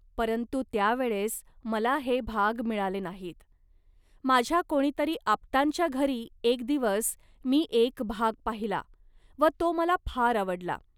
परंतु त्या वेळेस मला हे भाग मिळाले नाहीत. माझ्या कोणीतरी आप्तांच्या घरी एक दिवस मी एक भाग पाहिला व तो मला फार आवडला